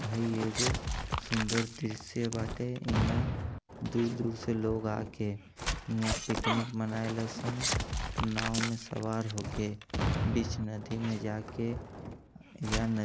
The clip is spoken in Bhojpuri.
हइ एगो सुंदर दृश्य बाटे इहाँ दूर-दूर से लोग आके इहां पिकनिक मनायेलसन नांव में सवार होके बीच नदी में जाके या नदी --